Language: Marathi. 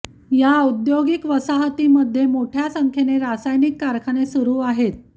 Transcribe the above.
या औद्योगिक वसाहतीमध्ये मोठ्या संख्येने रासायनिक कारखाने सुरू आहेत